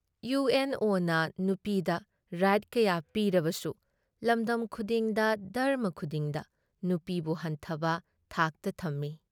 ꯏꯌꯨ N ꯑꯣꯅ ꯅꯨꯄꯤꯗ right ꯀꯌꯥ ꯄꯤꯔꯕꯁꯨ ꯂꯝꯗꯝ ꯈꯨꯗꯤꯡꯗ, ꯙꯔꯝꯃ ꯈꯨꯗꯤꯡꯗ ꯅꯨꯄꯤꯕꯨ ꯍꯟꯊꯕ ꯊꯥꯛꯇ ꯊꯝꯏ ꯫